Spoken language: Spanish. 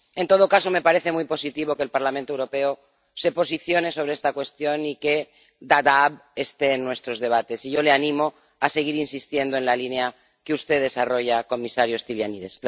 En todo caso, me parece muy positivo que el Parlamento Europeo se posicione sobre esta cuestión y que Dadaab esté en nuestros debates, y yo le animo a seguir insistiendo en la línea que usted desarrolla, comisario Stylianides.